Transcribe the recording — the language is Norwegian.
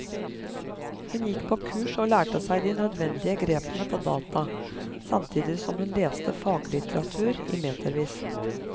Hun gikk på kurs og lærte seg de nødvendige grepene på data, samtidig som hun leste faglitteratur i metervis.